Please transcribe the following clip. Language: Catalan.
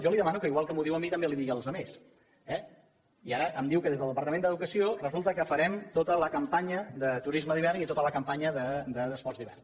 jo li demano que igual que m’ho diu a mi també ho digui als els altres eh i ara em diu que des del departament d’educació resulta que farem tota la campanya de turisme d’hivern i tota la campanya d’esports d’hivern